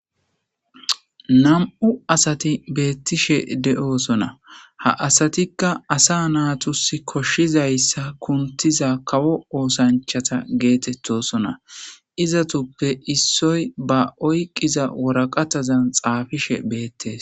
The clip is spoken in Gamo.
Nam'u asati beettishe de'osona ha asatikka asa naatusi koshshizayssa kuntiza kawo oosanchata geetettosona izatuppe issoy ba oyqqiza woraqatazan xaafishe beettes.